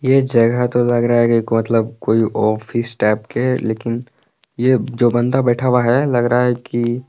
ये जगह तो लग रहा है कि मतलब कोई ऑफिस टाइप के लेकिन ये जो बंदा बैठा हुआ है लग रहा है कि--